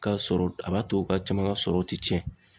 Ka sɔrɔ, a b'a to u caman ka sɔrɔ ti tiɲɛ